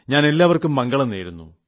ഞാൻ ഏവർക്കും മംഗളം നേരുന്നു